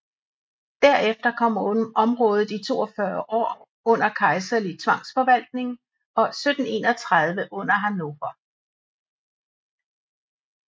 Derefter kom området i 42 år under kejserlig tvangsforvaltning og 1731 under Hannover